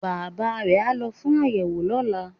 Bàbá re á lo fún àyẹ̀wò lọ́la